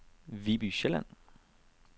Viby Sjælland